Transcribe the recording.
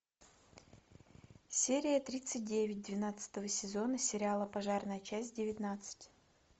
серия тридцать девять двенадцатого сезона сериала пожарная часть девятнадцать